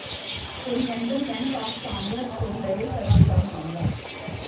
oriental Bank of Commerce ਤੋਂ ਲਏ ਕਰਜ਼ ਦਾ ਮਾਮਲਾ